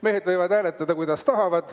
Mehed võivad hääletada, kuidas tahavad.